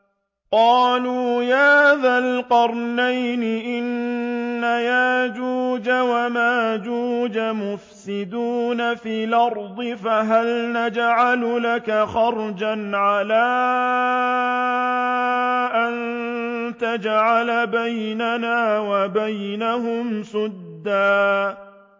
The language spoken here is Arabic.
قَالُوا يَا ذَا الْقَرْنَيْنِ إِنَّ يَأْجُوجَ وَمَأْجُوجَ مُفْسِدُونَ فِي الْأَرْضِ فَهَلْ نَجْعَلُ لَكَ خَرْجًا عَلَىٰ أَن تَجْعَلَ بَيْنَنَا وَبَيْنَهُمْ سَدًّا